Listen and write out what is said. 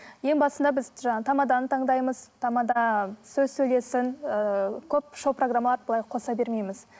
ең басында біз жаңа тамаданы таңдаймыз тамада сөз сөйлесін ііі көп шоу программаларды былай қоса бермейміз